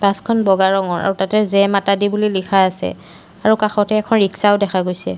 Bus খন বগা ৰঙৰ আৰু তাতে জেই মাতা দি বুলি লিখা আছে আৰু কাষতে এখন ৰিক্সা দেখা গৈছে।